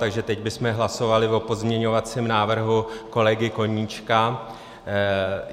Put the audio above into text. Takže teď bychom hlasovali o pozměňovacím návrhu kolegy Koníčka.